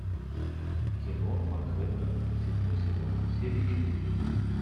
кино манхеттен седьмой сезон серия четыре